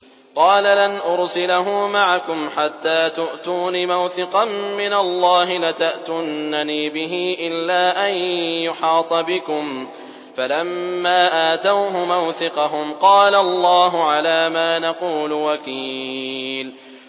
قَالَ لَنْ أُرْسِلَهُ مَعَكُمْ حَتَّىٰ تُؤْتُونِ مَوْثِقًا مِّنَ اللَّهِ لَتَأْتُنَّنِي بِهِ إِلَّا أَن يُحَاطَ بِكُمْ ۖ فَلَمَّا آتَوْهُ مَوْثِقَهُمْ قَالَ اللَّهُ عَلَىٰ مَا نَقُولُ وَكِيلٌ